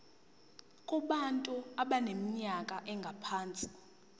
kubantu abaneminyaka engaphansi